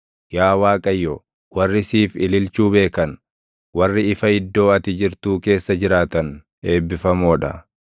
Yaa Waaqayyo, warri siif ililchuu beekan, warri ifa iddoo ati jirtuu keessa jiraatan eebbifamoo dha.